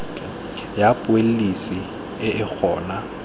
ya pholesi e e gona